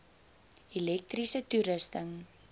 elektriese toerusting